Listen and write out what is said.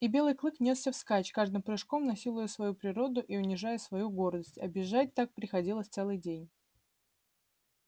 и белый клык нёсся вскачь каждым прыжком насилуя свою природу и унижая свою гордость а бежать так приходилось целый день